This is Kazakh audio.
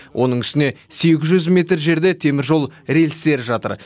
оның үстіне сегіз жүз метр жерде теміржол рельстері жатыр